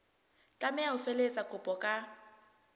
tlameha ho felehetsa kopo ka